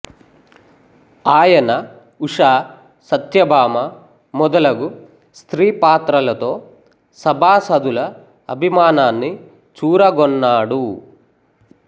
ఆయన ఉష సత్యభామ మొదలగు స్త్రీ పాత్రలతో సభాసదుల అభిమానాన్ని చూరగొన్నాడు